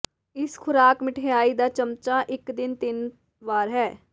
ਇਸ ਖੁਰਾਕ ਮਿਠਆਈ ਦਾ ਚਮਚਾ ਇੱਕ ਦਿਨ ਤਿੰਨ ਵਾਰ ਹੈ